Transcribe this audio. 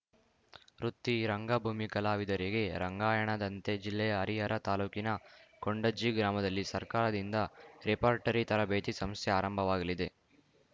ವೃತ್ತಿ ರಂಗಭೂಮಿ ಕಲಾವಿದರಿಗೆ ರಂಗಾಯಣದಂತೆ ಜಿಲ್ಲೆಯ ಹರಿಹರ ತಾಲೂಕಿನ ಕೊಂಡಜ್ಜಿ ಗ್ರಾಮದಲ್ಲಿ ಸರ್ಕಾರದಿಂದ ರೆಫರ್‌ಟರಿ ತರಬೇತಿ ಸಂಸ್ಥೆ ಆರಂಭವಾಗಲಿದೆ